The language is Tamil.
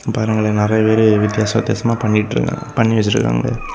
பாருங்களே நெறைய பேரு வித்யாச வித்தியாசமா பண்ணிட்டு பண்ணி வச்சிருக்காங்களே.